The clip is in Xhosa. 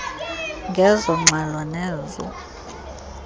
ngezo ngxelo nezo